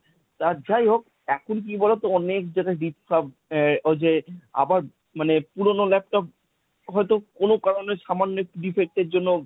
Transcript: আর যাই হোক এখন কি বলতো অনেক যারা রিপ সব দেয় আবার ওই যে মানে পুরনো laptop হয়তো কোন কারনে সামান্য একটু defect এর জন্য